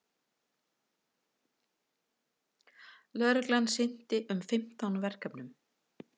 Lögreglan sinnti um fimmtán verkefnum